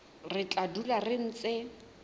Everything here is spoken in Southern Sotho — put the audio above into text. re tla dula re ntse